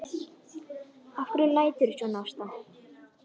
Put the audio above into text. Af hverju læturðu svona Ásta?